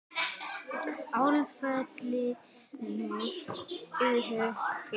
Áföllin urðu fleiri.